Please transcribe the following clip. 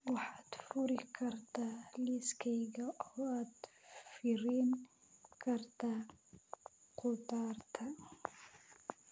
Waxaad furi kartaa liiskayga oo aad fiirin kartaa khudaarta